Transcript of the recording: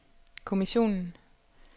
kommissionen